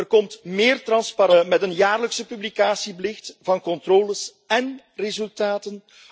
Er komt meer transparantie met een jaarlijkse publicatieplicht van controles en resultaten.